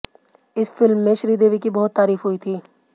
इस फिल्म में श्रीदेवी की बहुत तारीफ हुई थी